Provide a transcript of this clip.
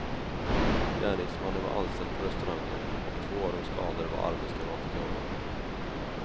Gärningsmannen var anställd på restaurangen och två av de skadade var arbetskamrater till honom.